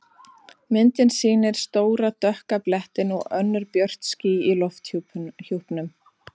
Myndin sýnir stóra dökka blettinn og önnur björt ský í lofthjúpnum.